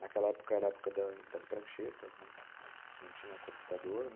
Naquela época era a época das das pranchetas, não tinha computador, né?